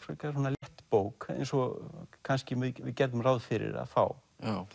létt bók eins og kannski við gerðum ráð fyrir að fá